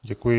Děkuji.